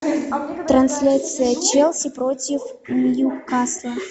трансляция челси против ньюкасла